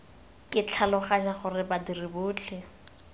ke tlhaloganya gore badiri botlhe